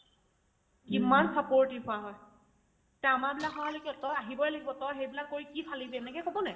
ইমান supportive হোৱা হয় তে আমাৰবিলাক হোৱা হ'লে কি হ'ল তই আহিবই লাগিব তই সেইবিলাক কৰি কি ফালিব এনেকে ক'বনে নাই ?